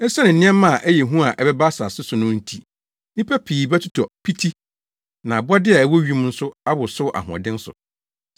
Esiane nneɛma a ɛyɛ hu a ɛbɛba asase so no nti, nnipa pii bɛtotɔ piti na abɔde a ɛwɔ wim nso awosow ahoɔden so.